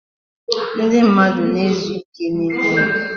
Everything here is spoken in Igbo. ndị mmadụ na-ezu ike n'ime ụlọ.